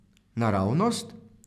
Naravnost?